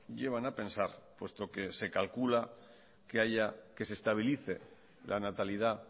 llevan a pensar puesto que se calcula que se estabilice la natalidad